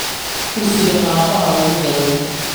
Kursiga aabbaha wuu jabay